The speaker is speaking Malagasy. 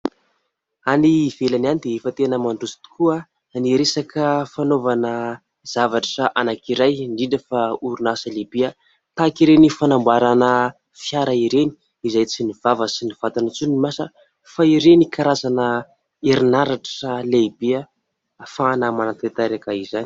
Any ivelany any dia efa tena mandroso tokoa ny resaka fanaovana zavatra anankiray, indrindra fa orinasa lehibe tahaka ireny fanamboarana fiara ireny, izay tsy ny vava sy ny vatana intsony no miasa fa ireny karazana herinaratra lehibe ahafahana manantanteraka izany.